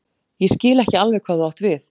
Ég skil ekki alveg hvað þú átt við.